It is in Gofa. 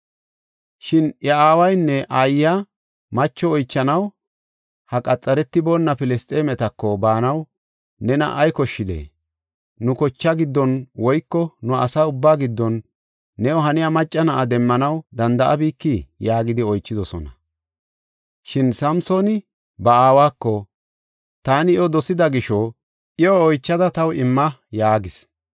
Shin iya aawanne aayiya, “Macho oychanaw ha qaxaretiboona Filisxeemetako baanaw nena ay koshshidee? Nu kochaa giddon woyko nu asa ubbaa giddon new haniya macca na7a demmanaw danda7abikii?” yaagidi oychidosona. Shin Samsooni ba aawako, “Taani iyo dosida gisho, iyo oychada taw imma” yaagis.